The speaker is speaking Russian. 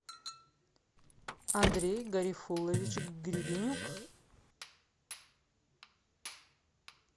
андрей гарифуллович гребенюк